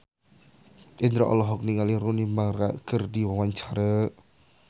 Indro olohok ningali Rooney Mara keur diwawancara